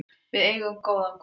Við eigum góðan guð.